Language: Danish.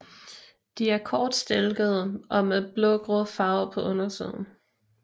De er kortstilkede og med blågrå farve på undersiden